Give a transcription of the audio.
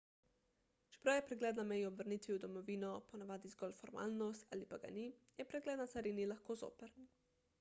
čeprav je pregled na meji ob vrnitvi v domovino ponavadi zgolj formalnost ali pa ga ni je pregled na carini lahko zoprn